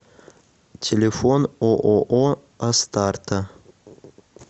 телефон ооо астарта